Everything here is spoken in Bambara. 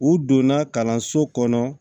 U donna kalanso kɔnɔ